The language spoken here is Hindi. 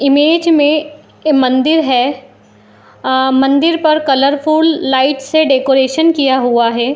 इमेज में मंदिर है अ मंदिर पर कलरफुल लाइट्स से डेकोरेशन किया हुआ है ।